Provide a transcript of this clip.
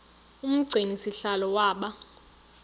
umgcini sihlalo waba